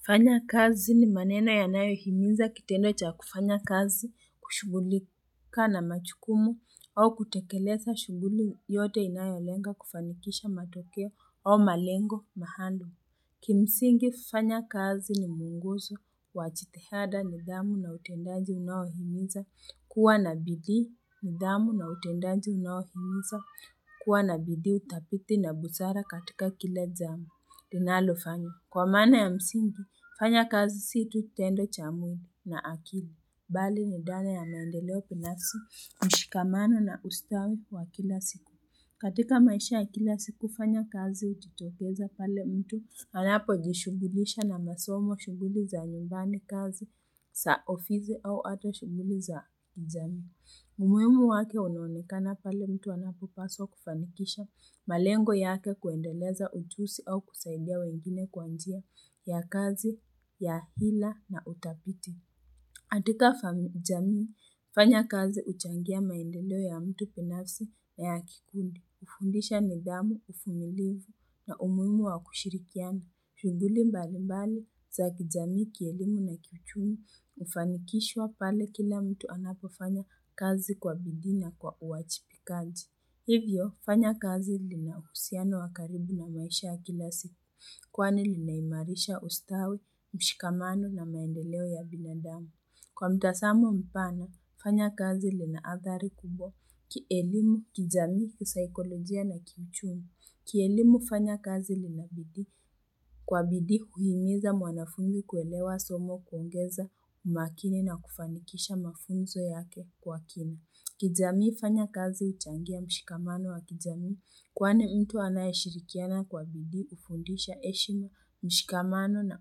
Fanya kazi ni maneno yanayohimiza kitendo cha kufanya kazi, kushughulika na majukumu, au kutekeleza shughuli yote inayolenga kufanikisha matokeo au malengo maalum. Kimsingi, fanya kazi ni muongozo wa jitihada, nidhamu, na utendaji unao himiza kuwa na bidii, nidhamu na utendaji unao himiza, kuwa na bidii, utafiti na busara katika kila jambo. Linalofanya. Kwa maana ya msingi, fanya kazi si tu kitendo cha mwini na akili. Mbali ni dhana ya maendeleo binafsi, mshikamano na ustawi wa kila siku. Katika maisha ya kila siku, fanya kazi ujitokeze pale mtu. Anapojishughulisha na masomo, shughuli za nyumbani, kazi za ofisi au hata shughuli za kijamii. Umuhimu wake unaonekana, pale mtu anapopaswa kufanikisha, malengo yake kuendeleza ujuzi au kusaidia wengine kwa njia ya kazi ya hila na utafiti. Katika jamii, fanya kazi huchangia maendeleo ya mtu binafsi ya kikundi, hufundisha nidhamu, uvumilivu na umuhimu wa kushirikiana. Shunghuli mbali mbali, za kijamii, kielimu na kichumi, hufanikishwa pale kila mtu anapofanya kazi kwa bidii na kwa uajibikaji. Hivyo, fanya kazi linauhusiano wa karibu na maisha kila siku, kwani linaimarisha ustawi, mshikamano na maendeleo ya binadamu. Kwa mtazamo mpana, fanya kazi linaathari kubwa, ki elimu, kijamii, kusaikolojia na kiuchumi. Kielimu, fanya kazi lina bidii, kwa bidii, huhimiza mwanafunzi kuelewa somo, kuongeza, umakini, na kufanikisha mafunzo yake kwa kina. Kijamii fanya kazi huchangia mshikamano wa kijamii, kwani mtu anayashirikiana kwa bidii hufundisha heshima, mshikamano na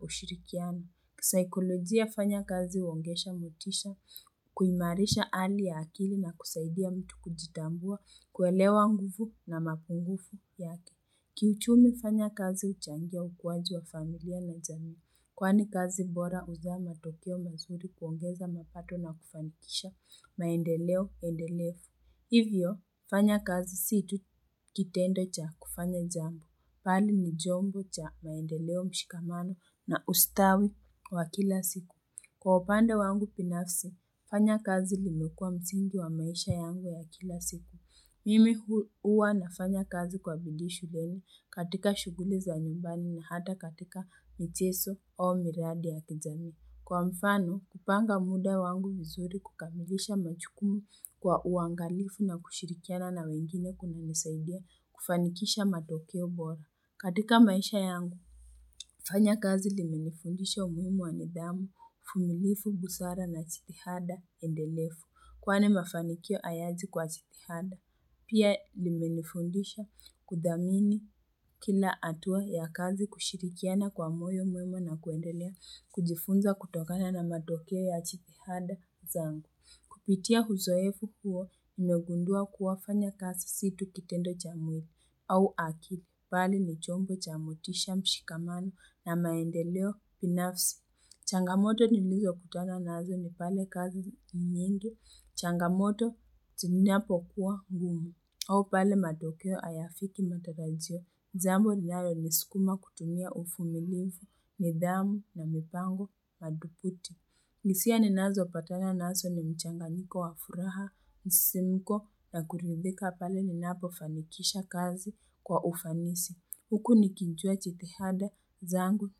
ushirikiano. Kisikolojia fanya kazi uongesha motisha, kuimarisha hali ya akili, na kusaidia mtu kujitambua, kuelewa nguvu na mapungufu yake. Kiuchumi, fanya kazi huchangia ukuwaji wa familia na jamii, kwani kazi bora huzaa matokeo mazuri, kuongeza mapato, na kufanikisha maendeleo endelevu. Hivyo, fanya kazi si tu kitendo cha kufanya jambo, mbali ni jomvu cha maendeleo mshikamano, na ustawi wa kila siku. Kwa upande wangu binafsi, fanya kazi limekua msingi wa maisha yangu ya kila siku. Mimi huwa nafanya kazi kwa bidii shuleni, katika shughuli za nyumbani, na hata katika michezo au miradi ya kijamii. Kwa mfano, kupanga muda wangu vizuri, kukamilisha majukumu kwa uangalifu, na kushirikiana na wengine kumenisaidia kufanikisha matokeo bora. Katika maisha yangu, fanya kazi limenifundisha umuhimu wa nidhamu, uvumilifu busara na jitihada endelevu. Kwani mafanikio hayaji kwa jitihada. Pia, limenifundisha kudhamini kila hatua ya kazi, kushirikiana kwa moyo mwema, na kuendelea kujifunza kutokana na matokeo ya jitihada zangu. Kupitia uzoeefu huo, nimegundua kuwa fanya kazi si tu kitendo cha mwili, au akili, mbali ni chombo cha motisha, mshikamano, na maendeleo binafsi. Changamoto nilizokutana nazo ni pale kazi nyingi, changamoto zinapokuwa ngumu au pale matokeo hayafiki matarajio, jambo linalo nisukuma kutumia uvumilivu, nidhamu, na mipango maduputi. Hisia ninazopatana nazo ni mchanganyiko wa furaha, msisimko, na kuridhika pale ninapofanikisha kazi kwa ufanisi. Huku nikijua jitihada, zangu,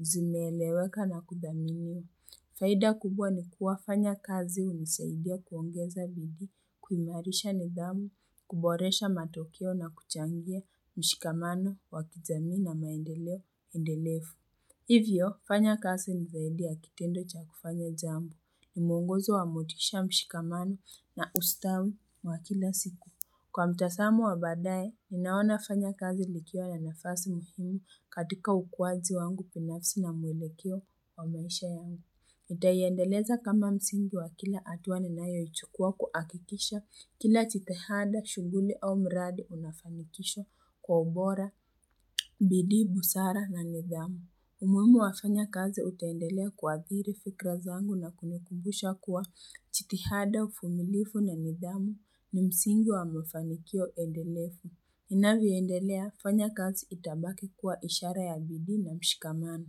zimeleweka na kudhaminiwa. Faida kubwa ni kuwa fanya kazi hunisaidia kuongeza bidii, kuimarisha nidhamu, kuboresha matokeo na kuchangia mshikamano, wa kijamii, na maendeleo endelefu. Hivyo, fanya kazi ni zaidi ya kitendo cha kufanya jambo, ni muonguzo wa motisha mshikamano na ustawi wa kila siku. Kwa mtazamo wa baadaye, ninaona fanya kazi likiwa na nafasi muhimu, katika ukuaji wangu binafsi, na mwelekeo wa maisha yangu. Nitaiendeleza kama msingi wa kila hatua ninayoichukua kuhakikisha, kila jitihada shunghuli, au mradi unafanikishwa kwa ubora, bidii, busara na nidhamu. Umuhimu wa wafanya kazi utaendelea kuadhiri fikra zangu, na kunikubusha kuwa jitihada, uvumilivu, na nidhamu ni msingi wa mufanikio endelefu. Navyoendelea fanya kazi itabaki kuwa ishara ya bidii na mshikamano.